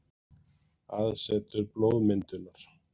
Aðsetur blóðmyndunar.